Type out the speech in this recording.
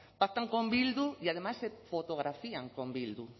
pactan con bildu y además se fotografían con bildu